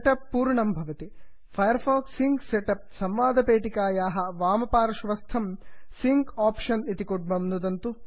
Firefox sync setup Firefox sync set up संवादपेटिकायाः वामपार्श्वस्थं sync option sync option इति कुड्मं नुदन्तु